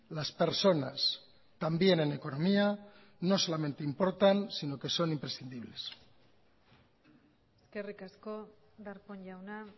las personas también en economía no solamente importan sino que son imprescindibles eskerrik asko darpón jauna